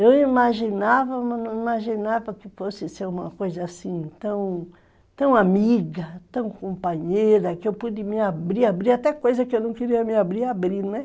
Eu imaginava, mas não imaginava que fosse ser uma coisa assim tão, tão amiga, tão companheira, que eu pude me abrir, abrir, até coisa que eu não queria me abrir, abrir, né?